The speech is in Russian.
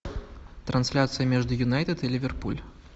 трансляция между юнайтед и ливерпуль